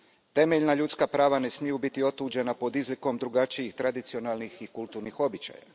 Temeljna ljudska prava ne smiju biti otuđena pod izlikom drugačijih tradicionalnih i kulturnih običaja.